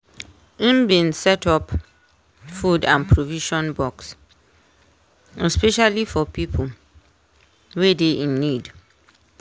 im bin set up food and provision box especially for pipo wey dey in need.